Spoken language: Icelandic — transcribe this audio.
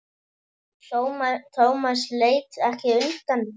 Thomas leit ekki undan.